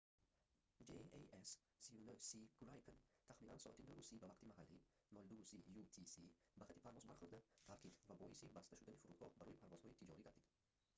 jas 39c gripen» тахминан соати 9:30 ба вақти маҳаллӣ 02:30 utc ба хати парвоз бархӯрда таркид ва боиси баста шудани фурудгоҳ барои парвозҳои тиҷорӣ гардид